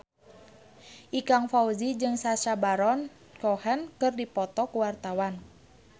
Ikang Fawzi jeung Sacha Baron Cohen keur dipoto ku wartawan